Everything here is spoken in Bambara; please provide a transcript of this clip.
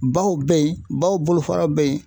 Baw be yen baw bolofara be yen.